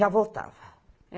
Já voltava.